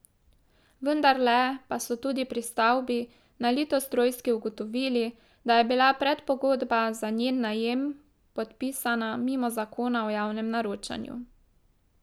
Vendarle pa so tudi pri stavbi na Litostrojski ugotovili, da je bila predpogodba za njen najem podpisana mimo zakona o javnem naročanju.